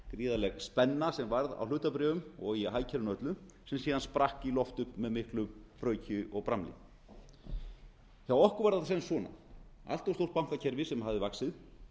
gríðarleg spenna sem varð á hlutabréfum og síðan hagkerfinu öllu sem síðar sprakk í loft upp með miklu brauki og bramli hjá okkur var það sisvona allt of stórt bankakerfi sem hafði vaxið